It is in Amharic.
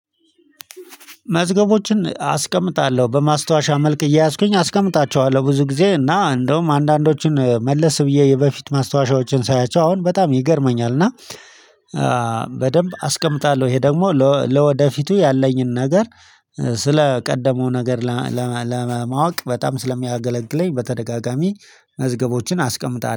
መዝገቦችን አስቀምጣለሁ በማስታወሻ መልክ እየያዝኩኝ አስቀምጣቸዋለሁ ብዙ ጊዜ እና እንደውም አንዳንዶቹን መለስ ብዬ የበፊት ማስታወሻዎችን ሳያቸው አሁን በጣም ይገርመኛል። እና በደንብ አስቀምጣለሁ ይሄ ደግሞ ለወደፊቱ ያለኝን ነገር ስለ ቀደመው ነገር ለማወቅ በጣም ስለሚያገለግለኝ። በተደጋጋሚ መዝገቦችን አስቀምጣለሁ